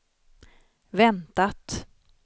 väntat